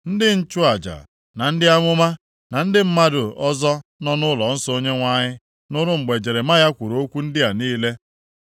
Ndị nchụaja, na ndị amụma, na ndị mmadụ ndị ọzọ nọ nʼụlọnsọ Onyenwe anyị nụrụ mgbe Jeremaya kwuru okwu ndị a niile.